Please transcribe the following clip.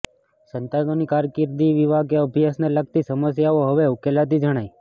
સંતાનોની કારકીર્દી વિવાહ કે અભ્યાસને લગતી સમસ્યાઓ હવે ઉકેલાતી જણાય